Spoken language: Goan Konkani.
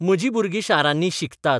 म्हजीं भुरगीं शारांनी 'शिकतात '?